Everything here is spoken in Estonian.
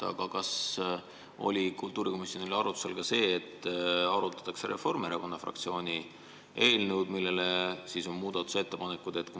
Aga kas oli kultuurikomisjonis arutusel ka see, et arutataks Reformierakonna fraktsiooni eelnõu, mille kohta võib teha muudatusettepanekuid?